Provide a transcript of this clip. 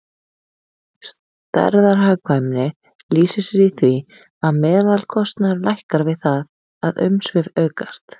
Stærðarhagkvæmni lýsir sér í því að meðalkostnaður lækkar við það að umsvif aukast.